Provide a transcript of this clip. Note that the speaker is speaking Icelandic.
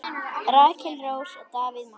Rakel Rós og Davíð Már.